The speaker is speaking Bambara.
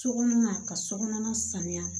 Sokɔnɔ na ka sokɔnɔ sanuya